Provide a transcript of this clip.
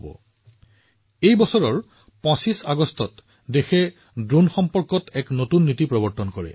সেয়েহে চলিত বৰ্ষৰ ২৫ আগষ্টত দেশখনে এক নতুন ড্ৰোন নীতি প্ৰস্তুত কৰে